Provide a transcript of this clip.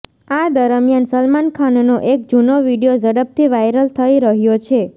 આ દરમિયાન સલમાન ખાનનો એક જૂનો વીડિયો ઝડપથી વાયરલ થઈ રહ્યો છે